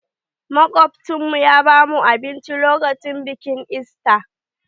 Makobtan mu ya ba mu abinci lokacin bikin ista.